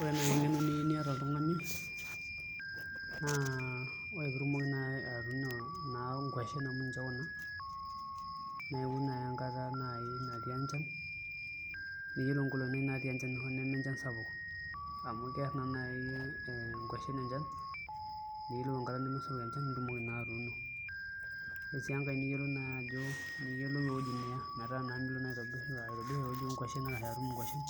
Ore naai eng'eno niyieu niata oltung'ani naa ore pee itumoki naai atuuno nkuashen amu ninche kuna naa iun ake naai enkata natii enchan niyiolou nkolong'i naai naatii enchan hoo nemenchan sapuk amu kerr naa naai nkuashen enchan niyiolou enkata nemesapuk enchan pee itumoki naa atuuno ore sii enkae naa iyiolou ajo niyiolou ewuoi niya metaa naa milo aitobirr ewueji oonkuashen arashu atum nkuashen